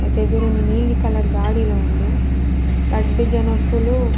ಐತ ಎದುರೊಂಜಿ ನೀಲಿ ಕಲರ್ದ ಗಾಡಿಲ ಉಂಡು ರಡ್ಡ್ ಜನೊಕುಲು --